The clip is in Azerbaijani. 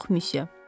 Yox, Müsüe.